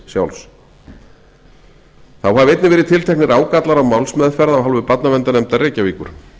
sjálfs þá hafi einnig verið tilteknir ágallar á málsmeðferð af hálfu barnaverndarnefndar reykjavíkur